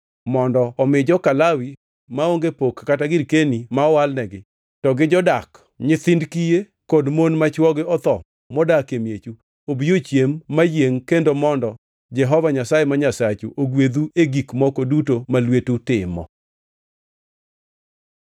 mondo omi joka Lawi (maonge pok kata girkeni ma owalnegi), to gi jodak, nyithind kiye kod mon ma chwogi otho modak e miechu obi ochiem mayiengʼ kendo mondo Jehova Nyasaye ma Nyasachu ogwedhu e gik moko duto ma lwetu timo.